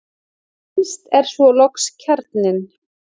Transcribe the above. Innst er svo loks kjarninn.